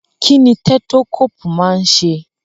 Kí ni tẹ́tókóòpù máa ń ṣe?